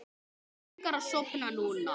Mig langar að sofna núna.